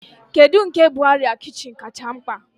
Kedu nke bụ arịa kichin kacha mkpa?